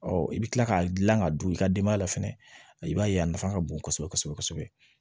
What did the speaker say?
i bɛ kila k'a dilan ka don i ka denbaya la fɛnɛ i b'a ye a nafa ka bon kosɛbɛ kosɛbɛ